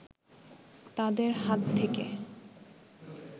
তাদের হাত থেকে